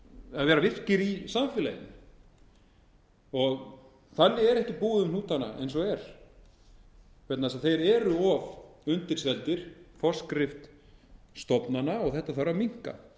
að vera virkir í samfélaginu þannig er ekki búið um hnútana eins og er vegna þess að þeir eru of undirseldir forskrift stofnana og þetta þarf að minnka